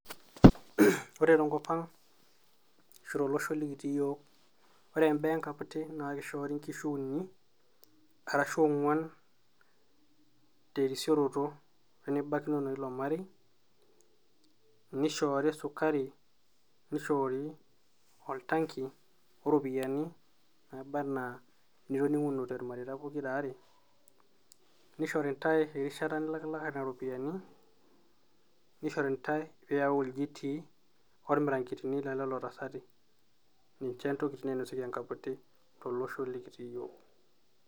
Ore tenkop ang' ashu tolosho likitii iyook, ore imbaa enkaputi naake ishoori inkishu uni arashu ong'wan terisioroto wenibakinono woilo marei, nishoori sukari, nishoori oltanki oropiani naaba enaa nitoning'unote irmareita pokira aare, nishori intai erishata nilakilaka nena ropiani, nishori ntai piiyauu ilchitii, ormirang'etini loolelotasati. Inje intoki nainosieki enkaputi tolosho lekitii iyiok.